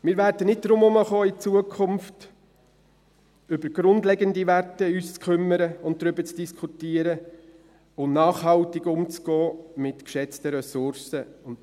Wir werden in Zukunft nicht darum herumkommen, uns um grundlegende Werte zu kümmern, darüber zu diskutieren und nachhaltig mit geschätzten Ressourcen umzugehen.